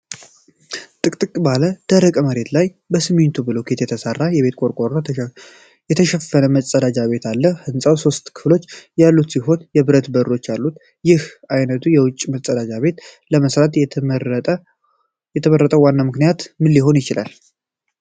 ጥቅጥቅ ባለ ደረቅ መሬት ላይ በሲሚንቶ ብሎኬት የተሠራና በቆርቆሮ የተሸፈነ መፀዳጃ ቤት አለ። ሕንጻው ሶስት ክፍሎች ያሉት ሲሆን የብረት በሮች አሉት። ይህን ዓይነቱ የውጭ መፀዳጃ ቤት ለመሥራት የተመረጠው ዋና ምክንያት ምን ሊሆን ይችላል?